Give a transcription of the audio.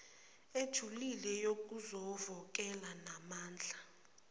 ejulile yokuzovokela nenamandla